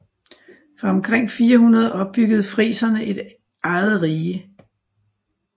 Fra omkring 400 opbyggede friserne et eget rige